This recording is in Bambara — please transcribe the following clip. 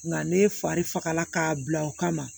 Nka ne fari fagala k'a bila o kama